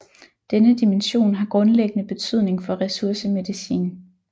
Denne dimension har grundlæggende betydning for ressourcemedicin